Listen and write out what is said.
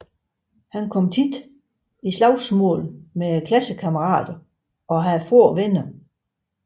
Han kom ofte i slagsmål med klassekammerater og havde få venner